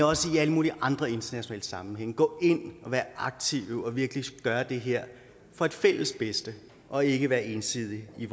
også i alle mulige andre internationale sammenhænge gå ind og være aktive og virkelig gøre det her for det fælles bedste og ikke være ensidige i